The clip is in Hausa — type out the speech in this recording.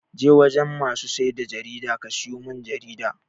Je wajen masu siyar da jarida ka siyo mun jarida!